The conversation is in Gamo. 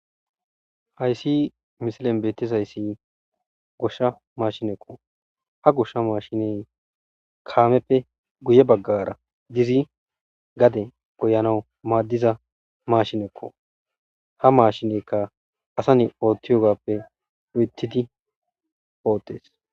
Ayssi misilen beettizayssi goshsha maashinekko ha goshsha maashiney kaameppe guye baggara gizi gade goyanawu maaddiza mashinekko ha maashinekka asane oothti yogappe uytidi poottes.